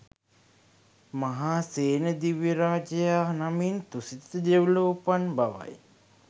මහාසේන දිව්‍ය රාජයා නමින් තුසිත දෙව්ලොව උපන් බවයි